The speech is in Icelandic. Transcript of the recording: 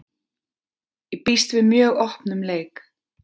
Ég býst við mjög opnum leik.